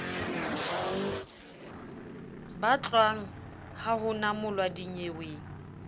batlwang ha ho namolwa dinyeweng